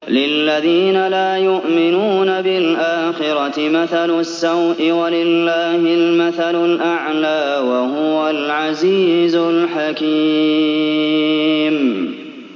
لِلَّذِينَ لَا يُؤْمِنُونَ بِالْآخِرَةِ مَثَلُ السَّوْءِ ۖ وَلِلَّهِ الْمَثَلُ الْأَعْلَىٰ ۚ وَهُوَ الْعَزِيزُ الْحَكِيمُ